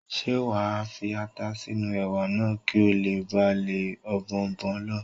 Ṣé wà á fi ata sínú Ẹ̀wà náà kí ó le ba lé Ọ̀bọ̀ọ̀nbọọ̀n lọ?